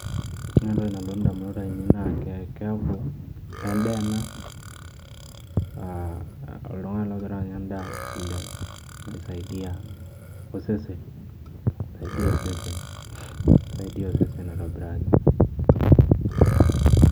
Oore entoki nalotu indamunot ainei naa en'daa eena oltung'ani logiraaanya en'daa naisaidia osesen. Naisaidai osesen, naisaidia osesen aitobiraki.